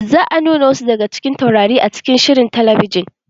Za a nuna wasu daga cikin taurari a cikin shirin talabijin.